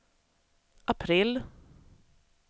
april